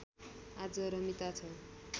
आज रमिता छ